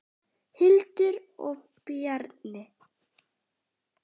Hildur og Bjarni.